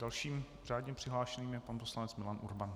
Dalším řádně přihlášeným je pan poslanec Milan Urban.